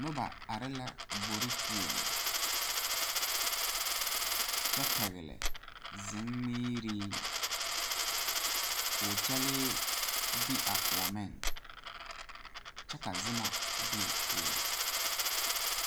Noba are la gbore poɔ, kyɛ pegle zunmiire ko'o kyɛle be a kõɔ meŋ kyɛ ka zuma be o poɔ.